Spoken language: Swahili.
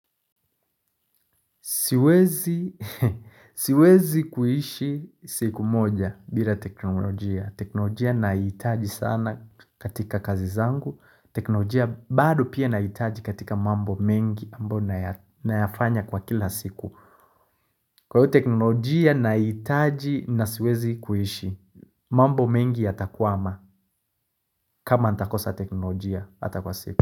Siwezi kuishi siku moja bila teknolojia. Teknolojia naitaji sana katika kazi zangu. Teknolojia bado pia naitaji katika mambo mengi ambao nayafanya kwa kila siku. Kwa hiyo teknolojia naitaji na siwezi kuishi. Mambo mengi yatakwama kama atakosa teknolojia hata kwa siku.